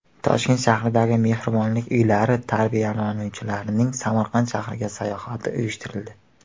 Toshkent shahridagi Mehribonlik uylari tarbiyalanuvchilarining Samarqand shahriga sayohati uyushtirildi.